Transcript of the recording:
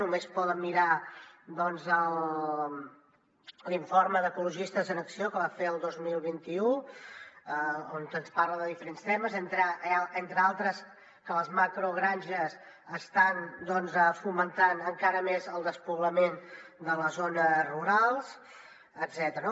només han de mirar doncs l’informe d’ecologistes en acció que van fer el dos mil vint u que ens parla de diferents temes entre altres que les macrogranges estan fomentant encara més el despoblament de les zones rurals etcètera